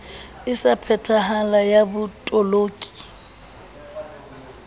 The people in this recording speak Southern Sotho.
e sa phethahalang ya botoloki